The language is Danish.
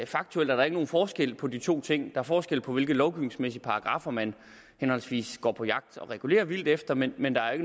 faktuelt er der ikke nogen forskel på de to ting er forskel på hvilke lovgivningsmæssige paragraffer man henholdsvis går på jagt og regulerer vildt efter men men der er